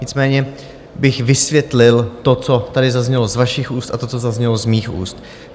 Nicméně bych vysvětlil to, co tady zaznělo z vašich úst, a to, co zaznělo z mých úst.